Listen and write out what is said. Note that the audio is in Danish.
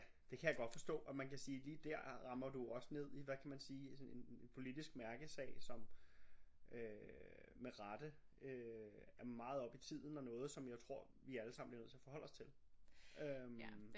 Det kan jeg godt forstå og man kan sige lige der rammer du også ned i hvad kan man sige en politisk mærkesag som øh med rette øh er meget oppe i tiden og noget som jeg tror vi allesammen bliver nødt til at forholde os til øh